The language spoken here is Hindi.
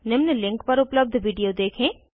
निम्न लिंक पर उपलब्ध वीडियो देखें